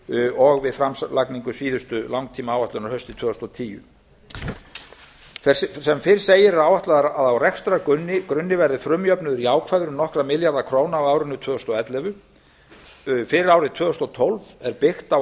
og við framlagningu síðustu langtímaáætlunar haustið tvö þúsund og tíu sem fyrr segir er áætlað að á rekstrargrunni verði frumjöfnuður jákvæður um nokkra milljarða króna á árinu tvö þúsund og ellefu fyrir árið tvö þúsund og tólf er byggt á